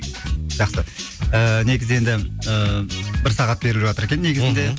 жақсы ыыы негізі енді ы бір сағат беріліп жатыр екен негізінде мхм